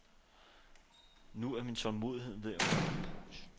Nu er min tålmodighed ved at være opbrugt.